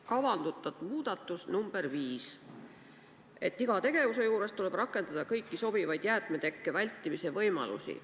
Kavandatav muudatus nr 5: iga tegevuse juures tuleb rakendada kõiki sobivaid jäätmetekke vältimise võimalusi.